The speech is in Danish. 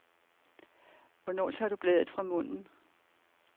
Hvornår tager du bladet fra munden.